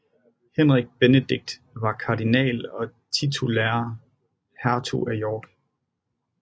Henrik Benedict var kardinal og titulær hertug af York